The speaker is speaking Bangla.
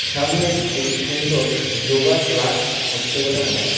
সামনে একটি সুন্দর যোগা ক্লাস হচ্ছে বলে মনে হয়।